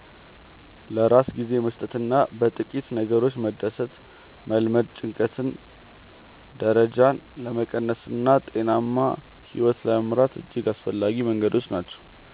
ለራስ ጊዜ መስጠትና በጥቂት ነገሮች መደሰትን መልመድ የጭንቀት ደረጃን ለመቀነስና ጤናማ ሕይወት ለመምራት እጅግ አስፈላጊ መንገዶች ናቸው።